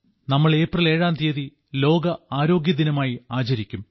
നമ്മൾ ഏപ്രിൽ ഏഴാം തീയതി ലോക ആരോഗ്യദിനമായിട്ട് ആചരിക്കും